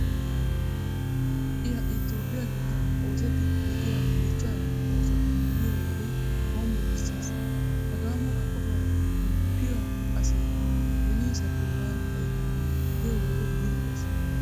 Ha"i ha"i toophphiya giddon oosettiiddi de'iya dichchaa oosota be'iyo wode hombbocissees. Hagaa mala qofaa qoppiya asi beniisappe waani xayidee giyo wode zil"ees.